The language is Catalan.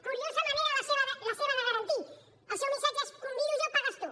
curiosa manera la seva de garantir el seu missatge és convido jo pagues tu